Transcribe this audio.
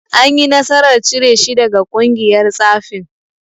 Anyi nasarar cire shi daga ƙungiyar tsafin.